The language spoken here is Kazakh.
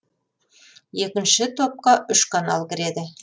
екінші топқа үш канал кіреді